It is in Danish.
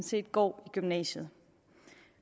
set går i gymnasiet